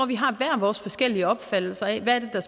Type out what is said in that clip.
vi har hver vores forskellige opfattelser af hvad det er